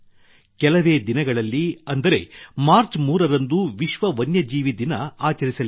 ಕೆಲವೇ ದಿನಗಳಲ್ಲಿ ಅಂದರೆ ಮಾರ್ಚ್ 3 ರಂದು ವಿಶ್ವ ವನ್ಯ ಜೀವಿ ದಿನ ಆಚರಿಸಲಿದ್ದೇವೆ